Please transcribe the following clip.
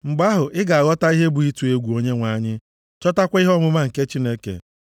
mgbe ahụ, ị ga-aghọtakwa ihe bụ ịtụ egwu Onyenwe anyị chọtakwa ihe ọmụma nke Chineke.